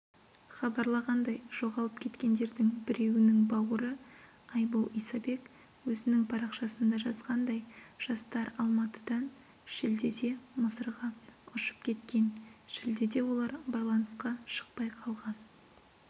хабарлағандай жоғалып кеткендердің біреуінің бауыры айбол исабек өзінің парақшасында жазғандай жастар алматыдан шілдеде мысырға ұшып кеткен шілдеде олар байланысқа шықпай қалған